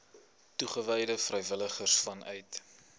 toegewyde vrywilligers vanuit